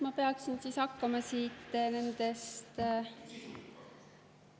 Ma peaksin siis hakkama siit nendest …